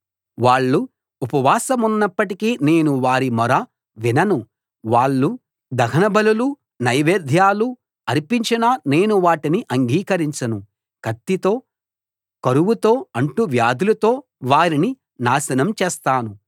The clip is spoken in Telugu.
వాళ్ళు ఉపవాసమున్నప్పటికీ నేను వారి మొర వినను వాళ్ళు దహనబలులూ నైవేద్యాలూ అర్పించినా నేను వాటిని అంగీకరించను కత్తితో కరువుతో అంటువ్యాధులతో వారిని నాశనం చేస్తాను